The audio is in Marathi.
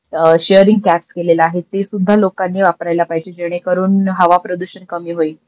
शेरिंग कॅब केलेलं आहे ते सुद्धा लोकांनी वापरायला पाहिजे जेने करून हवा प्रदूषण कमी होईल.